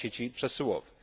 sieci przesyłowych.